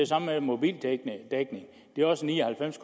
samme med mobildækning det er også ni og halvfems